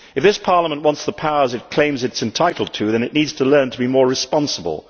If this Parliament wants the powers it claims it is entitled to, then it needs to learn to be more responsible.